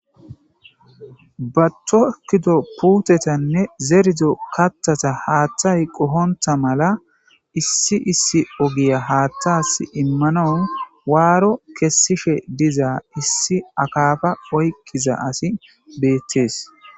Ba tokkido puutetanne zerido kattata haatthay qohonta mala issi issi ogiya haattas immanawu waaro kessishe dizaa issi akafa oyqqiza asi beettees.